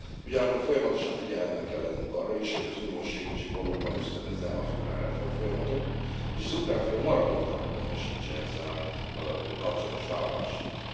Ugyanakkor folyamatosan figyelemmel kell lennünk arra is, hogy az uniós segítség valóban ösztönözze az ukrán reformfolyamatot, és az ukrán fél maradéktalanul teljesítse ezzel kapcsolatos vállalásait.